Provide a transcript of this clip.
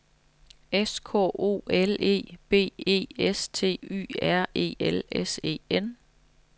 S K O L E B E S T Y R E L S E N